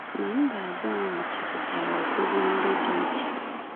Ma mba abụọ ahụ chepụtara ọgwụgwọ ndị dị iche.